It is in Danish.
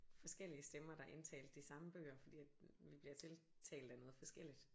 Forskellige stemmer der indtalte de samme bøger fordi at vi bliver til talt af noget forskelligt